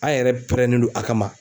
A' yɛrɛ pɛrɛnnen do a kama.